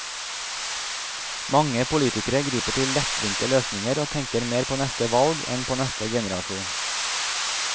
Mange politikere griper til lettvinte løsninger og tenker mer på neste valg enn på neste generasjon.